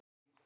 Búðum